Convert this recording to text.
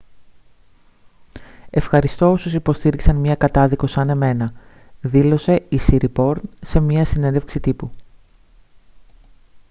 «ευχαριστώ όσους υποστήριξαν μια κατάδικο σαν εμένα» δήλωσε η σιριπόρν σε μια συνέντευξη τύπου